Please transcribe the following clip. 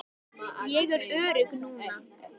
Ég er örugg núna.